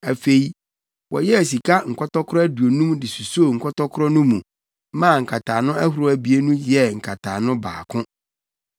Afei, wɔyɛɛ sika nkɔtɔkoro aduonum de susoo nkɔtɔkoro no mu maa nkataano ahorow abien no yɛɛ nkataano baako.